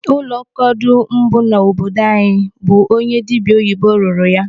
Ụlọ kọdụ mbụ nọ n'obodo anyị bụ onye dibịa oyibo rụrụ ya.